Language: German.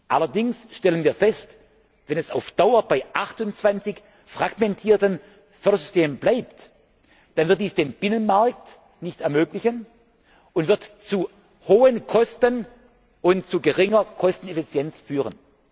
Allerdings stellen wir fest, wenn es auf Dauer bei 28 fragmentierten Fördersystemen bleibt, dann wird dies den Binnenmarkt nicht ermöglichen und wird zu hohen Kosten und zu geringer Kosteneffizienz führen.